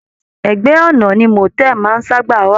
Ẹgbẹ ọna ni motel maá ń saba wà.